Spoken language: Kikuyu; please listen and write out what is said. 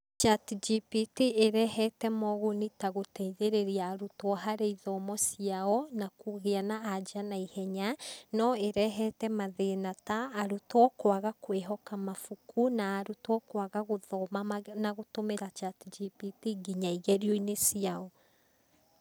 ChatGPT ĩrehete moguni ta gũteithĩrĩria arutwo harĩ ithomo ciao na kũgĩa na anja na ihenya. No ĩrehete mathĩna ta arutwo kwaga kwĩhoka mabuku na arutwo kwaga gũthoma na gũtũmĩra ChatGPT nginya igerio-inĩ ciao.